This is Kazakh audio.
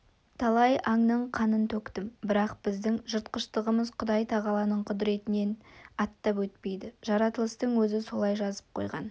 талай аңның қанын төктім бірақ біздің жыртқыштығымыз құдай-тағаланың құдіретінен аттап өтпейді жаратылыстың өзі солай жазып қойған